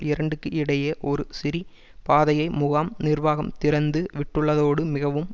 இரண்டுக்கு இடையே ஒரு சிறி பாதையை முகாம் நிர்வாகம் திறந்து விட்டுள்ளதோடு மிகவும்